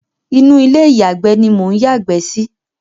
Inú ilé ìyàgbé ni mò ń yàgbẹ́ sí.